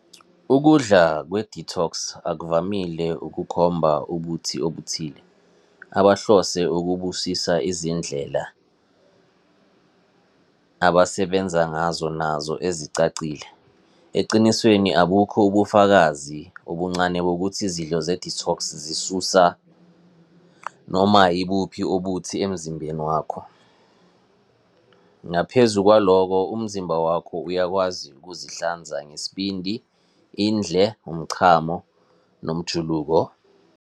Ukudla kwe-detox akuvamile ukukhomba ubuthi obuthile abahlose ukubusisa izindlela abasebenza ngazo nazo ezicacile. Ecinisweni, abukho ubufakazi obuncane bokuthi izidlo ze-detox zisusa noma ibuphi ubuthi emzimbeni wakho. Ngaphezu kwalokho umzimba wakho uyakwazi ukuzihlanza ngesibindi, indle, umchamo nomjuluko.